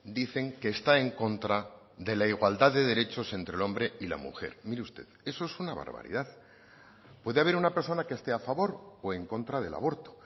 dicen que está en contra de la igualdad de derechos entre el hombre y la mujer mire usted eso es una barbaridad puede haber una persona que esté a favor o en contra del aborto